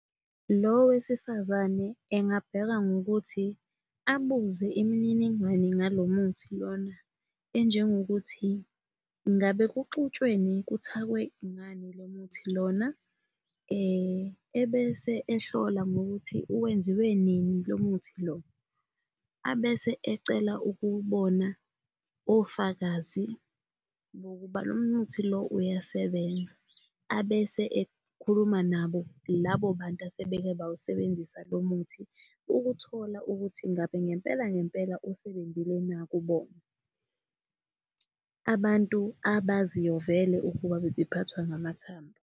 Lo wesifazane engabheka ngokuthi abuze imininingwane ngalo muthi lona enjengokuthi, ngabe kuxutshwene kuthakwe ngani lo muthi lona? ebese ehlola ngokuthi wenziwe nini lo muntu lo. Abese ecela ukubona ofakazi bokuba lo muthi lo uyasebenza, abese ekhuluma nabo labo bantu asebeke bawusebenzisa lo muthi ukuthola ukuthi ngabe ngempela ngempela usebenzile na kubona, abantu abaziyo vele ukuba bebephathwa ngamathambo.